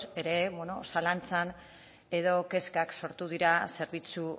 ere bueno zalantzan edo kezkak sortu dira zerbitzu